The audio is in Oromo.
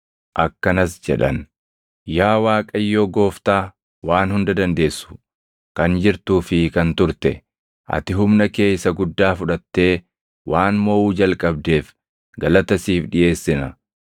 akkanas jedhan: “Yaa Waaqayyoo Gooftaa Waan Hunda Dandeessu, Kan jirtuu fi kan turte, ati humna kee isa guddaa fudhattee waan moʼuu jalqabdeef galata siif dhiʼeessina.